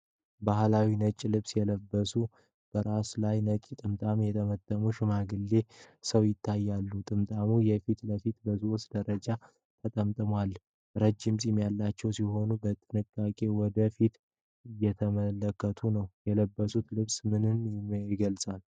ባሕላዊ ነጭ ልብስ የለበሰ፣ በራሱ ላይ ነጭ ጥምጣም የጠመጠመ ሽማግሌ ሰው ይታያል። ጥምጣሙ የፊት ለፊቱ በሦስት ደረጃዎች ተጠምጥሟል። ረዥም ፂም ያለው ሲሆን፣ በጥንቃቄ ወደ ፊት እየተመለከተ ነው። የለበሰው ልብስ ምንን ምይገልጻል?